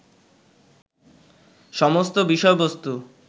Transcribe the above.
সমস্ত বিষয়বস্তু